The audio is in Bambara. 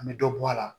An bɛ dɔ bɔ a la